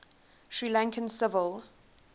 sri lankan civil